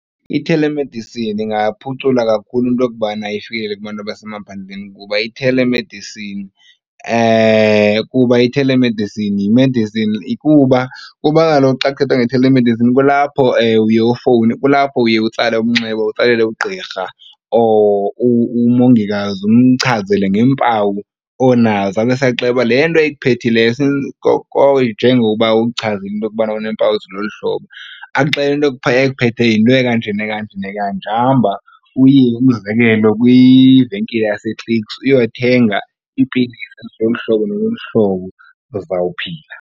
Ithelemedisini ingaphucula kakhulu into youbana ifikelele kubantu abasemaphandleni kuba ithelemedisini kuba ithelemedisini yimedisini kuba kuba kaloku xa kuthethwa ngethelemedisini kulapho uye ufowune, kulapho uye utsale umnxeba utsalele ugqirha or umongikazi umchazele ngeempawu onazo abese akuxelele le nto ikuphethileyo njengoba uchaze into yokubana uneempawu eziloluhlobo. Akuxelele into ekuphetheyo yinto ekanje nekanje nekanje. Hamba uye, umzekelo, kwivenkile yaseClicks uyothenga iipilisi zolu hlobo nolu hlobo uzawuphila.